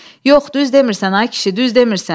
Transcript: Yox, düz demirsən ay kişi, düz demirsən.